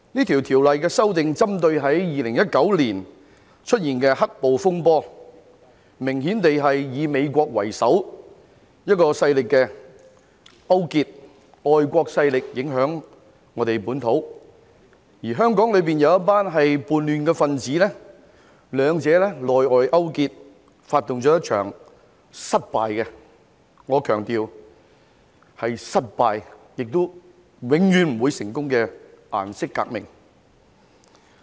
《條例草案》中的修訂，是針對2019年出現的"黑暴"風波，明顯地是以美國為首的外國勢力影響本土，而香港有一群叛亂分子，兩者內外勾結，發動了一場失敗——我強調是失敗——而且永遠不會成功的顏色革命。